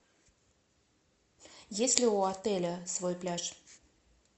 есть ли у отеля свой пляж